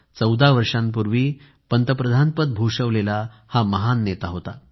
14 वर्षांपूर्वी पंतप्रधान पदावरून पायउतार झालेला हा महान नेता होता